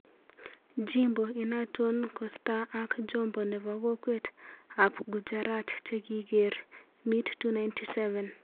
jimbo inaton kostaa ak jombo nepo kokwet ap Gujarat chekiger meat 297